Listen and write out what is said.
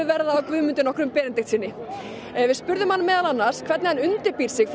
verða á Guðmundi nokkrum Benediktssyni við spurðum hann meðal annars hvernig hann undirbýr sig